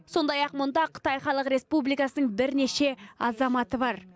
сондай ақ мұнда қытай халық республикасының бірнеше азаматы бар